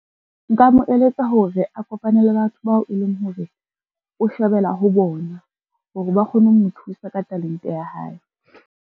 Nka mo eletsa hore a kopane le batho bao e leng hore o shebela ho bona, hore ba kgone ho mo thusa ka talente ya hae.